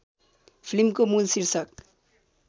फिल्मको मूल शीर्षक